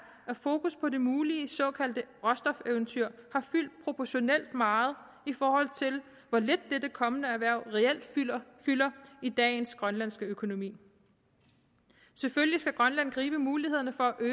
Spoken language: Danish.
at fokus på det mulige såkaldte råstofeventyr har fyldt proportionalt meget i forhold til hvor lidt dette kommende erhverv reelt fylder i dagens grønlandske økonomi selvfølgelig skal grønland gribe mulighederne for at